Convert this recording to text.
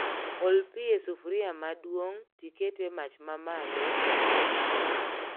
Ol pii e sufria maduong' tiket e mach mamalo to imed chumbi